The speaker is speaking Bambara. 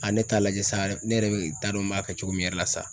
A ne t'a lajɛ sa yɛrɛ ne yɛrɛ bɛ taa don n b'a kɛ cogo min yɛrɛ la sa.